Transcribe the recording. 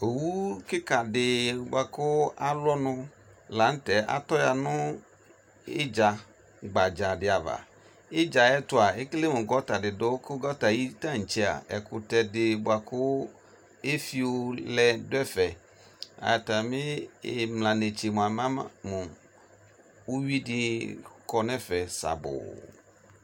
Owu kɩkadɩ bʋa kʋ alʋ ɔnʋ lanʋtɛ atɔya nʋ ɩdza gbadza dɩ ava ɩdza yɛ ayʋ ɛtʋa ekele mʋ gɔntadɩ dʋ kʋ ayʋ tantsea ɛkʋtɛdɩ bʋakʋ agbɔ dʋ ɛfɛ atamɩ ɩmla netsea iwui kɔ nʋ ɛfɛ sabʋʋ